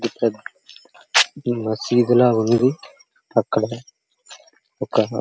ఇక్కడ మస్జీద్ ఈ మస్జీద్ చాలా ఉన్నది అక్కడ ఒక --